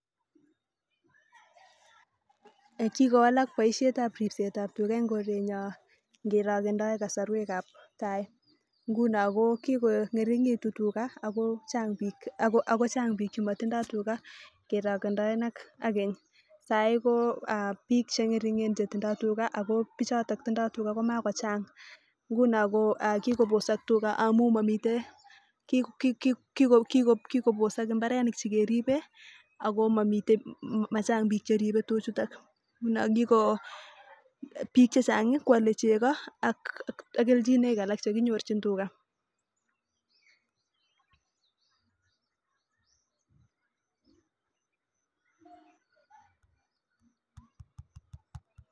Kikowalak baishet ab ribset ab tuga en korenyon ngerokindaen kasarwek ab tai ngunon ko kikongirikitun tuga akochang bik chematindoi tuga kerokindaen ak sai ko bik chengitingen ruga ako bik choton tindoi tuga komakochang nguni kikobosak tuga amun Mami ak kobosak imbarenik chemamii keribe akomami akomachang bik Cheribe tuchuton ngunon bik chechang Kwale chego ak kelchinoik alak chekinyoru tuga